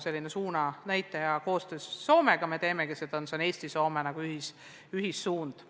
Me oleme suunanäitaja ja koostöös Soomega teemegi seda tööd, see on Eesti-Soome ühine suund noorsootöös.